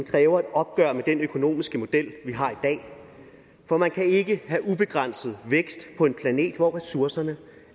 kræver et opgør med den økonomiske model vi har i dag for man kan ikke have ubegrænset vækst på en planet hvor ressourcerne